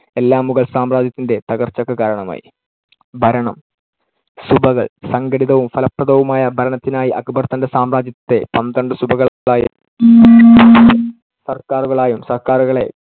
എല്ലാം മുഗൾ സാമ്രാജ്യത്തിന്‍ടെ തകർച്ചക്ക് കാരണമായി. ഭരണം. സുബകൾ. സംഘടിതവും ഫലപ്രദവുമായ ഭരണത്തിനായി അക്ബർ തൻടെ സാമ്രാജ്യത്തെ പന്ത്രണ്ട് സുബകളായും സർക്കാറുകളായും, സർക്കാറുകളെ